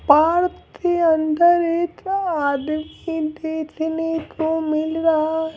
Park के अंदर एक आदमी देखने को मिल रहा है।